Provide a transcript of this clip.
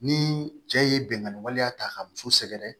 Ni cɛ ye binganni waleya ta ka muso sɛgɛrɛ